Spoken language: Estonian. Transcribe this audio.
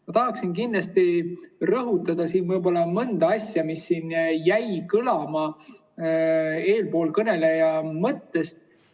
Ma tahan kindlasti rõhutada mõnda asja, mis jäid kõlama eelkõneleja mõtetest.